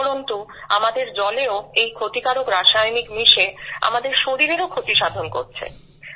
উপরন্তু আমাদের জলেও এই ক্ষতিকারক রাসায়নিক মিশে আমাদের শরীরেরও ক্ষতি সাধন করছে